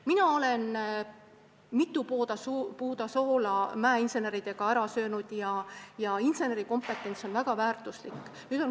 Mina olen mitu puuda soola koos mäeinseneridega ära söönud ja tean, et insenerikompetents on väga väärtuslik.